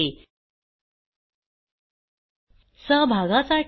ह्या ट्युटोरियलचे भाषांतर मनाली रानडे यांनी केले असून मी रंजना भांबळे आपला निरोप घेते